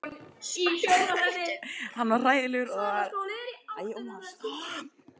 Hann var hræðilegur og er það eigendum félagsins að kenna?